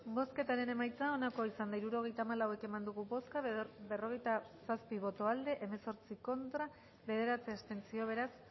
bozketaren emaitza onako izan da hirurogeita hamalau eman dugu bozka berrogeita zazpi boto aldekoa hemezortzi contra bederatzi abstentzio beraz